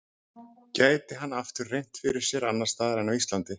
Gæti hann aftur reynt fyrir sér annars staðar en á Íslandi?